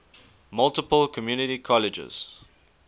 multiple community colleges